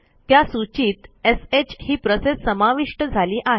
त्या सूचीत श ही प्रोसेस समाविष्ट झाली आहे